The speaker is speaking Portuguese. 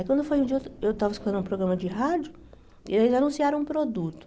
Aí, quando foi um dia, eu estava escutando um programa de rádio e eles anunciaram um produto.